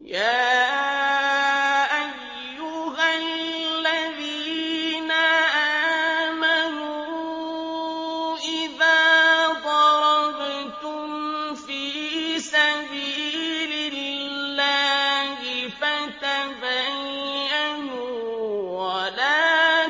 يَا أَيُّهَا الَّذِينَ آمَنُوا إِذَا ضَرَبْتُمْ فِي سَبِيلِ اللَّهِ فَتَبَيَّنُوا وَلَا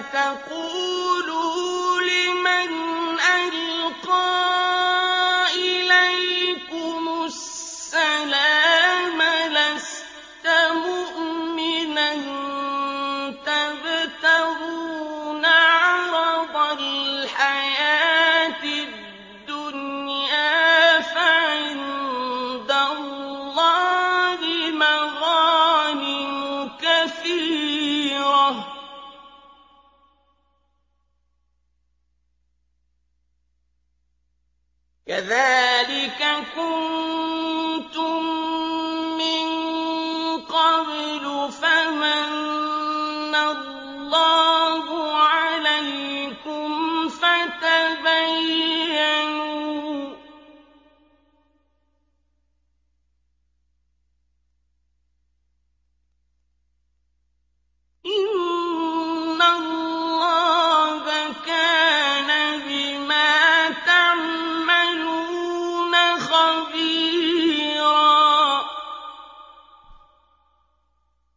تَقُولُوا لِمَنْ أَلْقَىٰ إِلَيْكُمُ السَّلَامَ لَسْتَ مُؤْمِنًا تَبْتَغُونَ عَرَضَ الْحَيَاةِ الدُّنْيَا فَعِندَ اللَّهِ مَغَانِمُ كَثِيرَةٌ ۚ كَذَٰلِكَ كُنتُم مِّن قَبْلُ فَمَنَّ اللَّهُ عَلَيْكُمْ فَتَبَيَّنُوا ۚ إِنَّ اللَّهَ كَانَ بِمَا تَعْمَلُونَ خَبِيرًا